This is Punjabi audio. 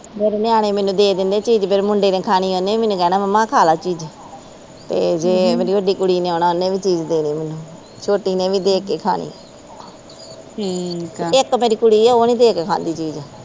ਮੇਰੇ ਨਿਆਣੇ ਮੈਨੂੰ ਦੇ ਦਿੰਦੇ ਚੀਜ਼ ਮੇਰੇ ਮੁੰਡੇ ਨੇ ਖਾਣੀ ਓਹਨੇ ਵੀ ਮੈਨੂੰ ਕਹਿਣਾ ਮੰਮਾ ਆ ਖਾਲਾ ਚੀਜ਼ ਤੇ ਜੇ ਮੇਰੀ ਵੱਡੀ ਕੁੜੀ ਨੇ ਆਉਣਾ ਉਹਨੇ ਵੀ ਚੀਜ਼ ਦੇ ਦੇਣੀ ਛੋਟੀ ਨੇ ਵੀ ਦੇ ਕੇ ਖਾਣੀ ਤੇ ਇਕ ਮੇਰੀ ਕੁੜੀ ਆ ਉਹ ਨਹੀਂ ਦੇ ਕੇ ਖਾਂਦੀ ਚੀਜ਼।